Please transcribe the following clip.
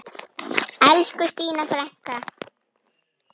Elsku Stína frænka.